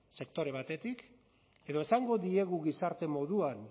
sektore batetik edo esango diegu gizarte moduan